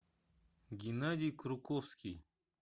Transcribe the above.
геннадий круковский